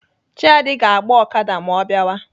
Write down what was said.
Chiadi ga-agba Okada ma ọ biawa.